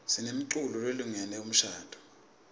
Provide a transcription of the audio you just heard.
sinemiculo lelungele umshadvo